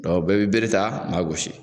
Dɔnku bɛɛ bɛ bere ta an maa gosi